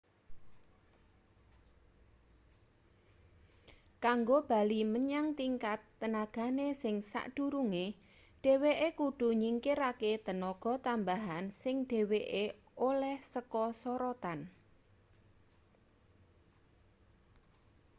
kanggo bali menyang tingkat tenagane sing sakdurunge dhweke kudu nyingkirake tenaga tambahan sing dheweke oleh saka sorotan